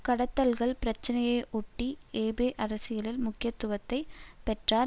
கடத்தல்கள் பிரச்சினையை ஒட்டி ஏபே அரசியலில் முக்கியத்துவத்தை பெற்றார்